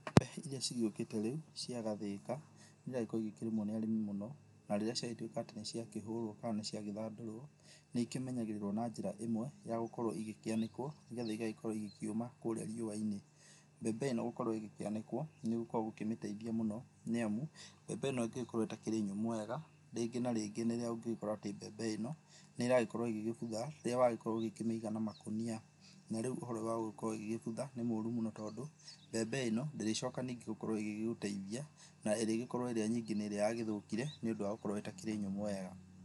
Mbembe iria cigĩũkĩte rĩu, cia gathĩka, ciendaga gũkorwo cikĩrĩmwo nĩ arĩmi mũno, na rĩrĩa ciagĩtwĩka atĩ nĩciakĩhũrwo kana nĩciagĩthandũrwo, nĩikĩmenyagĩrĩrwo na njĩra ĩmwe ya gũkorwo igĩkĩanĩkwo, nĩgetha igagĩkorwo ikĩũma kũrĩa riũa-inĩ, mbembe ĩno gũkorwo ĩgĩkĩanĩkwo, nĩgũkoragwo gũkĩmĩteithia mũno, nĩamu, mbembe ĩno ĩngĩgĩkorwo ĩtarĩ nyũmũ wega, rĩngĩ na rĩngĩ nĩ rĩrĩa ũngĩgĩkora atĩ mbembe ĩno, nĩragĩkorwo ĩgĩgĩbutha, rĩrĩa wagíkorwo ũgĩkĩmĩiga na makonia, na rĩu ũhoro wa gũkorwo ígĩbutha, nĩ mũru mũno, tondũ, mbembe ĩno, ndĩrĩcoka ningĩ gũkorwo ĩgĩgúteithia, na ĩrĩkorwo ĩrĩa nyingĩ nĩ ĩrĩa yagĩthũkire nĩũndũ wa gũkorwo ĩtakĩrĩ nyũmũ wega.